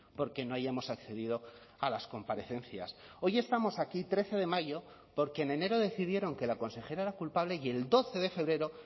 porque no hayamos accedido a las comparecencias hoy estamos aquí trece de mayo porque en enero decidieron que la consejera era culpable y el doce de febrero